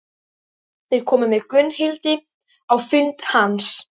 Þeir komu með Gunnhildi á fund hans.